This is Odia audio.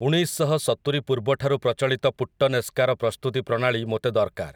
ଉଣେଇଶଶହସତୁରି ପୂର୍ବଠାରୁ ପ୍ରଚଳିତ ପୁଟ୍ଟନେସ୍କାର ପ୍ରସ୍ତୁତି ପ୍ରଣାଳୀ ମୋତେ ଦରକାର ।